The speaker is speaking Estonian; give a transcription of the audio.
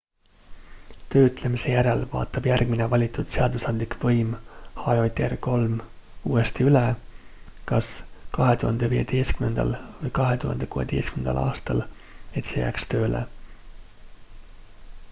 töötlemise järel vaatab järgmine valitud seadusandlik võim hjr-3 uuesti üle kas 2015 või 2016 aastal et see jääks töösse